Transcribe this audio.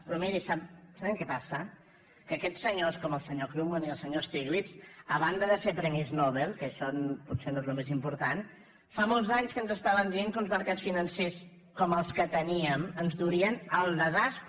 però mirin saben què passa que aquests senyors com el senyor krugman i el senyor stiglitz a banda de ser premis nobel que això potser no és el més important fa molts anys que ens estaven dient que uns mercats financers com els que teníem ens durien al desastre